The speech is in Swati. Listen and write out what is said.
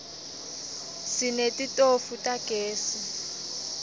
sinetitofu tagezi